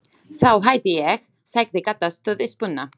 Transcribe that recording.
Þá hætti ég, sagði Kata stutt í spuna.